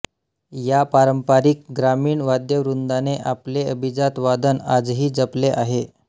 या पारंपरिक ग्रामीण वाद्यवृंदाने आपले अभिजात वादन आजही जपले आहे